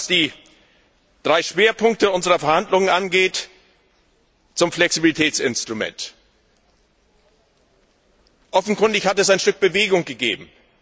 Was die drei Schwerpunkte unserer Verhandlungen angeht, zum Flexibilitätsinstrument Offenkundig hat es ein Stück Bewegung gegeben.